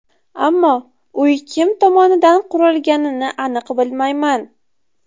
Ammo uy kim tomonidan qurilganini aniq bilmayman.